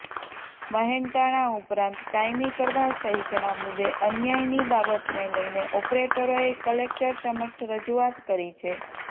મહેનતાણા ઉપરાંત કાયમી કરવા સહિતના મુદ્દે અન્યાયની બાબતને લઇને ઓપરેટરોએ કલેક્ટર સમક્ષ રજૂઆત કરી છે